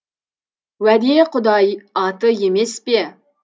уәде құдай аты емес пе